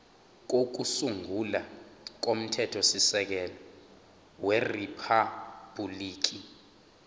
kokusungula komthethosisekelo weriphabhuliki